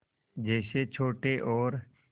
जैसे छोटे और